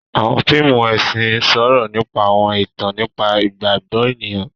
Awọn fíìmù ẹsin sọrọ nípa awọn ìtàn nípa igbagbọ ènìyàn.